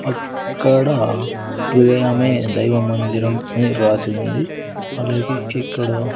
అక్కడ హృదయమే దైవ మందిరం అని రాసి ఉంది అలాగే ఇక్కడ--